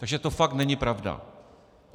Takže to fakt není pravda.